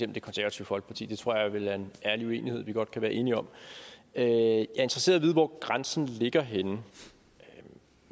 det konservative folkeparti det tror jeg vel er en uenighed vi godt kan være enige om jeg er interesseret vide hvor grænsen ligger